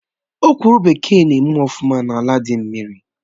Ọ̀kwụ́rụ́ bekee na eme ọfụma n'ala dị mmiri